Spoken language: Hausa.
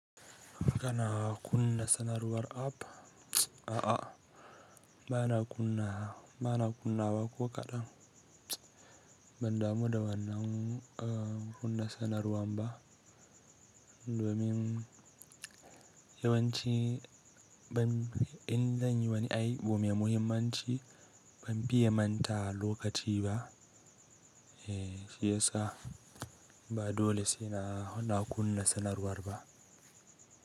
Kana kunna sanarwar app? Aa bana kunnawa ko kadan. Bandamu da wannan kuna sanarwa bah domin yawanci idan zanyi wani aiki mai muhimmanci ban fiye manta lokaci ba eh shiyasa ba dole saina kunna sanarwa sanarwar ba.